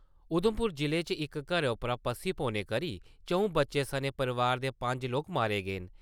उधमपुर जिले च इक घरै उप्पर पस्सी पौने करी चं`ऊ बच्चें सनें परिवार दे पंज लोग मारे गे न।